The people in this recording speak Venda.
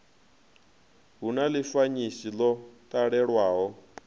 hu na ḽifanyisi ḽo talelwaho